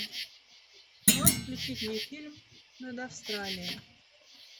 можешь включить мне фильм над австралией